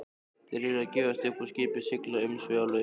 Þeir yrðu að gefast upp og skipið að sigla umsvifalaust.